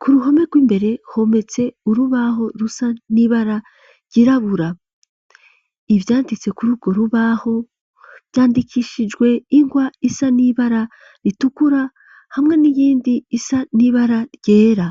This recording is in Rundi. ku ruhome rw'imbere hometse urubaho rusa n'ibara ryirabura. Ivyanditse kuri urwo rubaho vyandikishijwe ingwa isa n'ibara ritukura hamwe n'irindi risa n'ibara ryera.